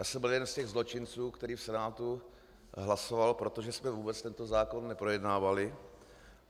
Já jsem byl jeden z těch zločinců, který v Senátu hlasoval, protože jsme vůbec tento zákon neprojednávali.